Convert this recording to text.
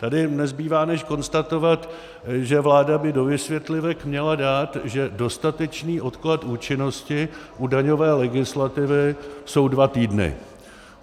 Tady nezbývá, než konstatovat, že vláda by do vysvětlivek měla dát, že dostatečný odklad účinnosti u daňové legislativy jsou dva týdny.